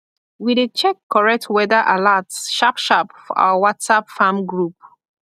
we dey check correctweather alerts sharp sharp for our whatsapp farm group